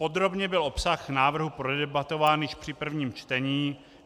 Podrobně byl obsah návrhu prodebatován již při prvním čtení.